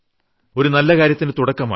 ഒരു നല്ല കാര്യത്തിന് തുടക്കമായി